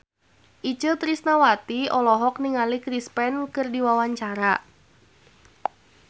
Itje Tresnawati olohok ningali Chris Pane keur diwawancara